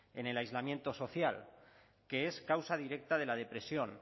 en el aislamiento social que es causa directa de la depresión